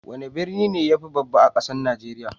Wani birni ne mafi babba a kasan Nijeriya?